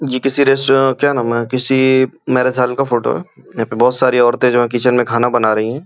जी किसी रेस्टो क्या नाम है किसी मेरा थल का फोटो है यहाँ पे बहुत सारी औरते जो है किचन में खाना बना रही है।